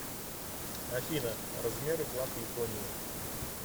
афина размеры флаг японии